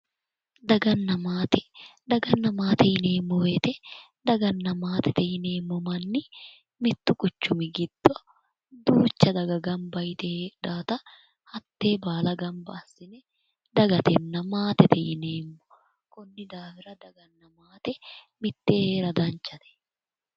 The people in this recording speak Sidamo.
Daganna maate daganna maatete yineemmo woyite daganna maatete yineemmo manni mittu quchumi giddo duucha daga gamba yite heedhawoota hattee baala gamba assine dagatenna maatete yineemmo konni daafira daganna maate mittee heera danchate